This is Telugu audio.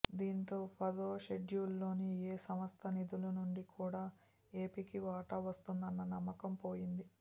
దీంతో పదో షెడ్యూల్లోని ఏ సంస్థ నిధుల నుంచి కూడా ఏపీకి వాటా వస్తుందన్న నమ్మకం పోయింది